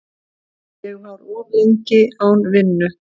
Ég var of lengi án vinnu.